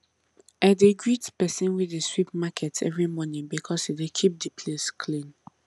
i dey greet persin wey dey sweep market every morning because e dey keep the place clean